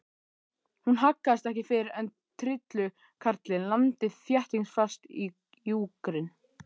Hún haggaðist ekki fyrr en trillukarlinn lamdi þéttingsfast í júgrin.